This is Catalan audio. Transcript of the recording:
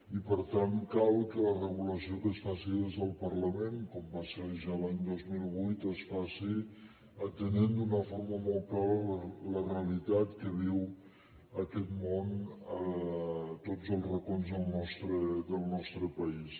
i per tant cal que la regulació que es faci des del parlament com va ser ja l’any dos mil vuit es faci atenent d’una forma molt clara la realitat que viu aquest món a tots els racons del nostre país